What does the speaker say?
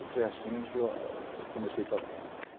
E foi assim que eu comecei a tocar.